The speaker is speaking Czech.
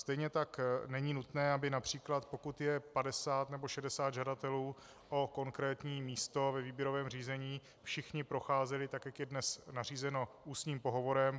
Stejně tak není nutné, aby například pokud je 50 nebo 60 žadatelů o konkrétní místo ve výběrovém řízení, všichni procházeli, tak jak je dnes nařízeno, ústním pohovorem.